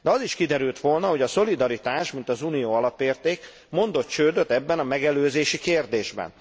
De az is kiderült volna, hogy a szolidaritás mint uniós alapérték mondott csődöt ebben a megelőzési kérdésben.